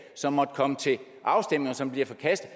som måtte komme til afstemning og som bliver forkastet